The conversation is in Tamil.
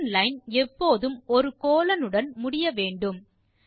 பங்ஷன் லைன் எப்போதும் ஒரு கோலோன் உடன் முடியவேண்டும்